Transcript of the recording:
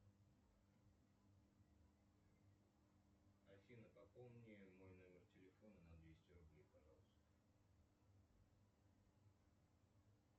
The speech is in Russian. афина пополни мой номер телефона на двести рублей пожалуйста